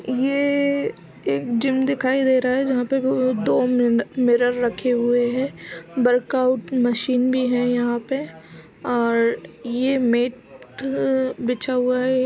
ये एक जिम दिखाई दे रहा है जहाॅं पे दो मिर- मिरर रखे हुए हैं। वर्कआउट मशीन भी है यहाॅं पे और ये मेट अ- बिछा हुआ है।